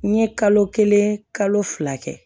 N ye kalo kelen kalo fila kɛ